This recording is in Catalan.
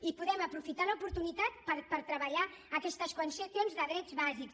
i podem aprofitar l’oportunitat per treballar aquestes qüestions de drets bàsics